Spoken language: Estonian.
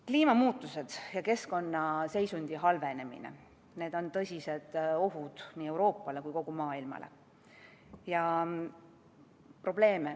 Kliimamuutused ja keskkonnaseisundi halvenemine – need on tõsised ohud nii Euroopale kui ka kogu maailmale.